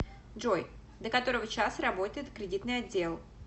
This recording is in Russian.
джой до которого часа работает кредитный отдел